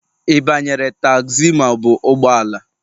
Ị banyere tagzi ma ọ bụ ụgbọ ala?